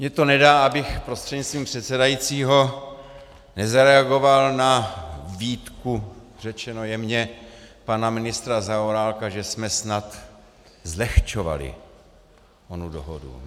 Mně to nedá, abych prostřednictvím předsedajícího nezareagoval na výtku, řečeno jemně, pana ministra Zaorálka, že jsme snad zlehčovali onu dohodu.